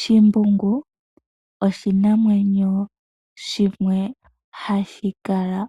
Shimbungu oshinamwenyo shimwe ha shi kala